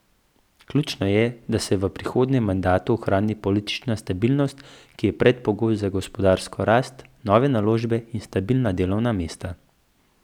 Ključno je, da se v prihodnjem mandatu ohrani politična stabilnost, ki je predpogoj za gospodarsko rast, nove naložbe in stabilna delovna mesta.